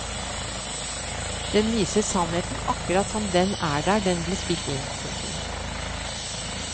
Den viser sannheten akkurat som den er der den ble spilt inn. punktum